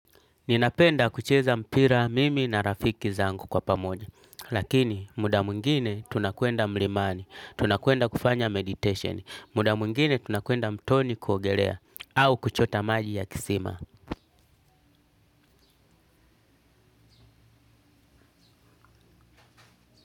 Ninapenda kucheza mpira mimi na rafiki zangu kwa pamoja. Lakini muda mwingine tunakwenda mlimani, tunakwenda kufanya meditation, muda mwingine tunakwenda mtoni kuogelea, au kuchota maji ya kisima.